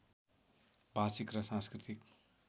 भाषिक र सांस्कृतिक